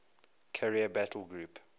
carrier battle group